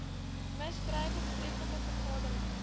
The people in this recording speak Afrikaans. misdrywe betreffende vergaderings